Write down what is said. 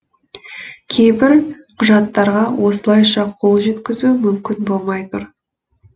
кейбір құжаттарға осылайша қол жеткізу мүмкін болмай тұр